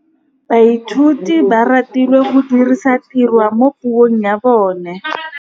Baithuti ba rutilwe go dirisa tirwa mo puong ya bone.